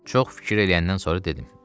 Çox fikir eləyəndən sonra dedim: